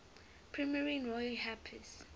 premiering roy harper's